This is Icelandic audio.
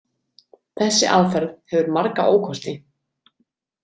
Þessi aðferð hefur marga ókosti.